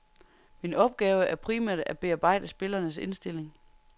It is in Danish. Min opgave er primært at bearbejde spillernes indstilling.